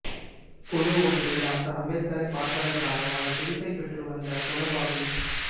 குழு ஒன்று டாக்டர் அம்பேத்கரைப் பார்ப்பதற்காக அவர் சிகிச்சைப் பெற்றுவந்த கொலபாவில்